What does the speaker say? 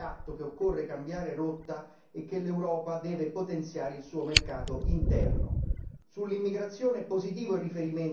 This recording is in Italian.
Sullo sfondo c'è l'incapacità di prendere atto che occorre cambiare rotta e che l'Europa deve potenziare il suo mercato interno.